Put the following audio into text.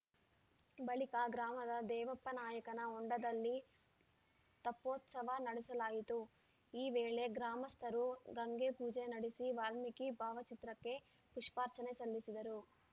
ಬಳಿಕ ಗ್ರಾಮದ ದೇವಪ್ಪನಾಯಕನ ಹೊಂಡದಲ್ಲಿ ತೆಪ್ಪೋತ್ಸವ ನಡೆಸಲಾಯಿತು ಈ ವೇಳೆ ಗ್ರಾಮಸ್ಥರು ಗಂಗೆ ಪೂಜೆ ನಡೆಸಿ ವಾಲ್ಮೀಕಿ ಭಾವಚಿತ್ರಕ್ಕೆ ಪುಷ್ಪಾರ್ಚನೆ ಸಲ್ಲಿಸಿದರು